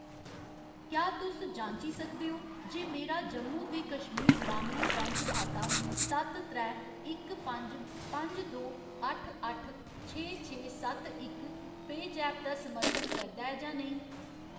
क्या तुस जांची सकदे ओ जे मेरा जम्मू ते कश्मीर ग्रामीण बैंक खाता सत्त त्रै इक पंज पंज दो अट्ठ अट्ठ छे छे सत्त इक पेऽजैप दा समर्थन करदा ऐ जां नेईं ?